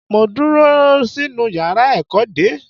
Mo dúró sínú yàrá ẹ̀kọ́ dè ẹ́.